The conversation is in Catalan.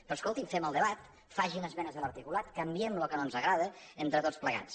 però escolti’m fem el debat facin esmenes a l’articulat canviem el que no ens agrada entre tots plegats